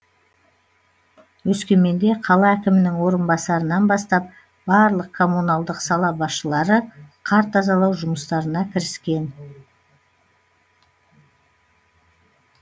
өскеменде қала әкімінің орынбасарынан бастап барлық коммуналдық сала басшылары қар тазалау жұмыстарына кіріскен